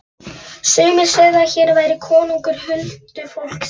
Sumir segðu að hér væri konungur huldufólksins.